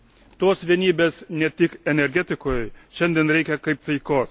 Tos vienybės ne tik energetikoj šiandien reikia kaip taikos.